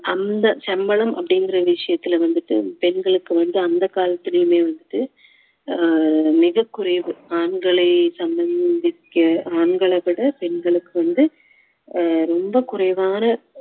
அந்த சம்பளம் அப்படிங்குற விஷயத்தில் வந்துட்டு பெண்களுக்கு வந்து அந்த காலத்திலயுமே வந்துட்டு அஹ் மிகக் குறைவு ஆண்களை திக்க ஆண்களை விட பெண்களுக்கு வந்து அஹ் ரொம்ப குறைவான